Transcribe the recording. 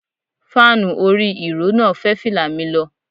Fáànù orí ìró náà fẹ́ fìlà mi lọ.